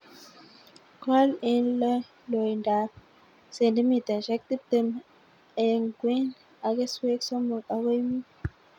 Kol eng loinbo ab cendimitaishek tiptem eng kwen ak keswek somok akoi mut